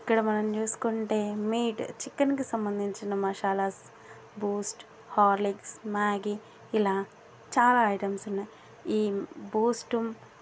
ఇక్కడ మనం చూసుకుంటే మీట్ . చికెన్ కి సంబంధించిన మసాలాస్ . బూస్ట్ హార్లిక్స్ మ్యాగీ ఇలా చాలా ఐటమ్స్ ఉన్నాయ్. ఈ బూస్ట్ ఉహ్హ--